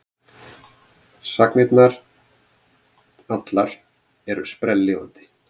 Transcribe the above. Sagnirnar allar eru sprelllifandi.